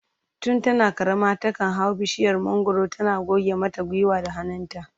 Tun tana karama takan hau bishiyar mangwaro tana goge mata gwiwa da hannayenta